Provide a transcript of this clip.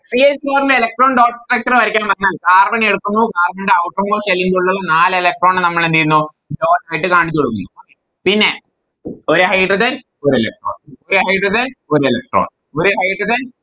C h four ന് Electron dot structure വരക്കാൻ പറഞ്ഞാൽ Carbon എടുക്കുന്നു Carbon ൻറെ Outer most shell ൻറെ ഉള്ളിന്ന് നാല് Electron നെ നമ്മളെന്തേയുന്നു Dot ആയിട്ട് കാണിച്ചോടുക്കുന്നു പിന്നെ ഒര് Hydrogen ഒര് Electron ഒര് Hydrogen ഒര് Electron ഒര് Hydrogen